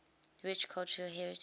rich cultural heritage